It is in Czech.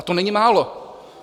A to není málo.